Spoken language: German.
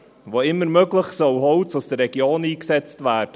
Wo immer möglich, soll Holz aus der Region eingesetzt werden.